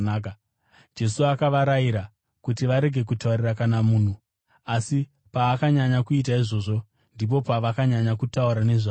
Jesu akavarayira kuti varege kutaurira kana munhu. Asi paakanyanya kuita izvozvo, ndipo pavakanyanya kutaura nezvazvo.